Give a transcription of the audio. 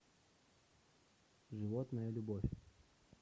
животная любовь